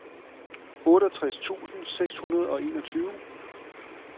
otteogtres tusind seks hundrede og enogtyve